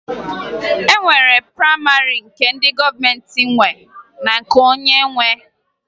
E nwere prayịmarị nke ndị gọọmenti nwe na nke onye nwe